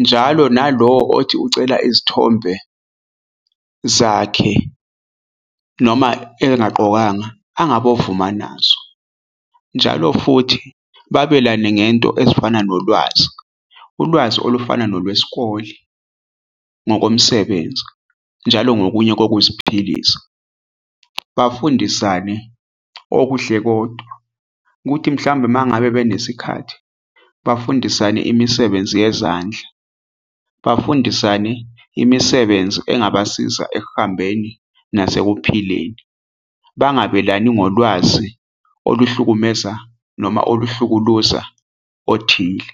njalo nalowo othi ucela izithombe zakhe noma engagqokanga angabovuma nazo. Njalo futhi babelane ngento ezifana nolwazi, ulwazi olufana nolwesikole, ngokomsebenzi njalo ngokunye kokuziphilisa. Bafundisane okuhle kodwa kuthi mhlambe mangabe benesikhathi bafundisane imisebenzi yezandla, bafundisane imisebenzi engabasiza ekuhambeni nasekuphileni bangabelani ngolwazi oluhlukumeza noma oluhlukuluza othile.